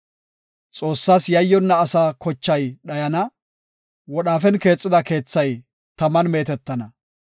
Xoossas yayyonna asaa kochay dhayana; wodhaafen keexetida keethay taman meetetana.